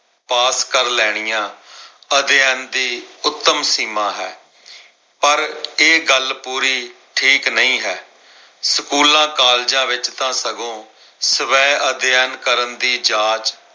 ਪਾਸ ਕਰ ਲੈਣੀਆਂ ਅਧਿਐਨ ਦੀ ਉੱਤਮ ਸੀਮਾਂ ਹੈ। ਪਰ ਇਹ ਗੱਲ ਪੂਰੀ ਠੀਕ ਨਹੀਂ ਹੈ। ਸਕੂਲਾਂ, ਕਾਲਜਾਂ ਵਿੱਚ ਤਾਂ ਸਗੋਂ ਸਵੈ ਅਧਿਐਨ ਕਰਨ ਦੀ ਜਾਚ